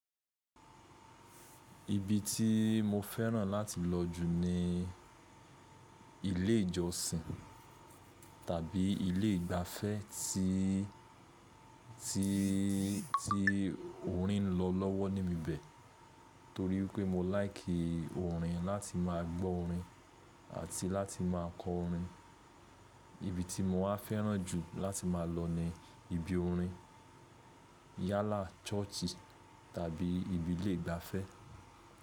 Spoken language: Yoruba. Ibi tí mo fẹ́ràn láti lọ jù ni ilé ìjọsìn tàbí ilé ìgbafẹ́ tí, tí, tí orin ń lọ lọ́wọ́ ní bibẹ̀. Torí pé mo láìkì orin, láti má a gbọ́ orin àti láti má a kọ orin. Ibi tí mo wá fẹ́ràn jù láti má a lọ ni ibi orin yálà Churchi tàbí ibi ilé ìgbafẹ́.